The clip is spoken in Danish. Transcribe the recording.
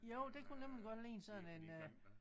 Jo det kunne nemlig godt ligne sådan en øh